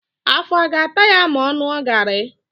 Afọ a ga-ata ya ma ọ ṅụọ garị?